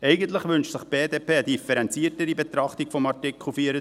Eigentlich wünscht sich die BDP eine differenziertere Betrachtung von Artikel 24.